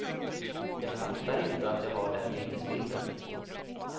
Jag fattar inte att jag har den minnesbilden.